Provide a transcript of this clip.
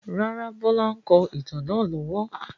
Rárá, Bọlá ń kọ ìtàn náà lọ́wọ́.